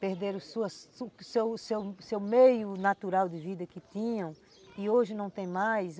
Perderam sua, sua, o seu seu seu meio natural de vida que tinham e hoje não têm mais.